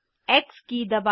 x key दबाएं